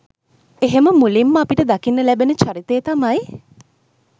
එහෙම මුලින්ම අපිට දකින්න ලැබෙන චරිතය තමයි